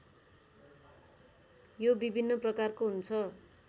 यो विभिन्न प्रकारको हुन्छ